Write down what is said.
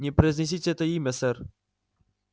не произнесите это имя сэр